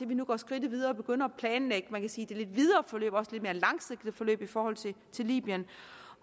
vi nu går skridtet videre og begynder at planlægge kan man sige det lidt videre forløb og det lidt mere langsigtede forløb i forhold til libyen